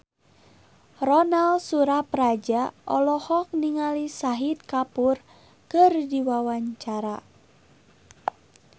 Ronal Surapradja olohok ningali Shahid Kapoor keur diwawancara